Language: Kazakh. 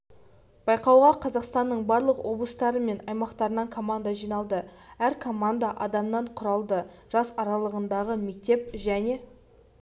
байқауға қазақстанның барлық облыстары мен аймақтарынан команда жиналды әр команда адамнан құралды жас аралығындағы мектеп және